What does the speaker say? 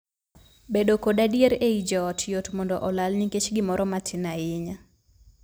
Bedo kod adier ei joot yot mondo olal nikech gimoro matin aninya.